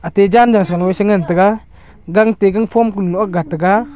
cha chan to salo sangan taga gang to gangphom kulo nu agat taga.